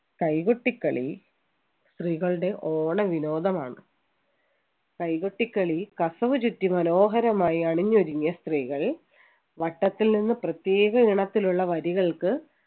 കൈകൊട്ടിക്കളി സ്ത്രീകളുടെ ഓണ വിനോദമാണ് കൈകൊട്ടിക്കളി കസവ് ചുറ്റി മനോഹരമായി അണിഞ്ഞൊരുങ്ങിയ സ്ത്രീകൾ വട്ടത്തിൽ നിന്ന് പ്രത്യേക ഇണത്തിലുള്ള വരികൾക്ക്